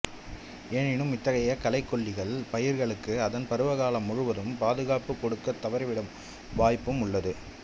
எனினும் இத்தகைய களைக்கொல்லிகள் பயிர்களுக்கு அதன் பருவகாலம் முழுதும் பாதுகாப்புக் கொடுக்கத் தவறிவிடும் வாய்ப்பும் உண்டு